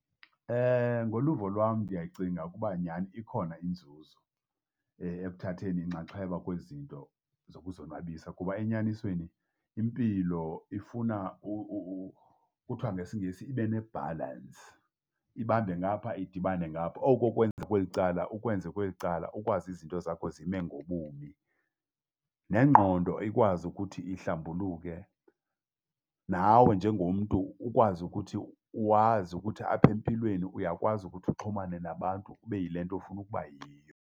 Ngoluvo lwam ndiyacinga ukuba nyani ikhona inzuzo ekuthatheni inxaxheba kwezi zinto zokuzonwabisa kuba enyanisweni impilo ifuna kuthiwa ngesiNgesi ibe ne-balance, ibambe ngapha idibane ngapha. Oku ukwenza kweli cala ukwenze kweli cala ukwazi izinto zakho zime ngobumi. Nengqondo ikwazi ukuthi ihlambuluke, nawe njengomntu ukwazi ukuthi, wazi ukuthi aphempilweni uyakwazi ukuthi uxhumane nabantu, ube yile nto ofuna ukuba yiyo.